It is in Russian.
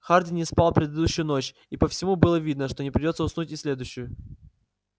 хардин не спал предыдущую ночь и по всему было видно что не придётся уснуть и в следующую